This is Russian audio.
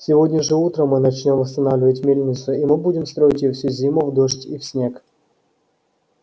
сегодня же утром мы начнём восстанавливать мельницу и мы будем строить её всю зиму в дождь и в снег